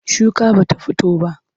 Shuka ba ta fito ba.